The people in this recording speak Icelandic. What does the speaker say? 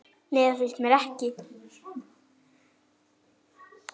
nei það finnst mér ekki